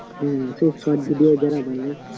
হ্যা short short video যারা বানায়